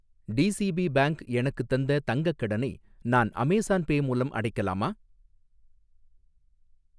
TCP bank எனக்குத் தந்த தங்கக் கடனை நான் அமேஸான் பே மூலம் அடைக்கலாமா?